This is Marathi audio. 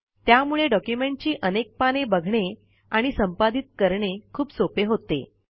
त्यामुळे डॉक्युमेंटची अनेक पाने बघणे आणि संपादित करणे खूप सोपे होते